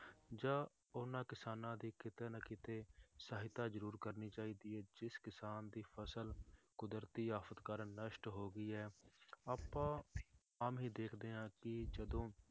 ਜਾਂ ਉਹਨਾਂ ਕਿਸਾਨਾਂ ਦੀ ਕਿਤੇ ਨਾ ਕਿਤੇ ਸਹਾਇਤਾ ਜ਼ਰੂਰ ਕਰਨੀ ਚਾਹੀਦੀ ਹੈ, ਜਿਸ ਕਿਸਾਨ ਦੀ ਫਸਲ ਕੁਦਰਤੀ ਆਫ਼ਤ ਕਾਰਨ ਨਸ਼ਟ ਹੋ ਗਈ ਹੈ ਆਪਾਂ ਆਮ ਹੀ ਦੇਖਦੇ ਹਾਂ ਕਿ ਜਦੋਂ